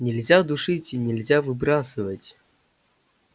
нельзя душить и нельзя выбрасывать